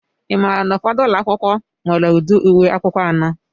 Ị maara na ụfọdụ ụlọ akwụkwọ nwere ụdị uwe akwụkwọ anọ?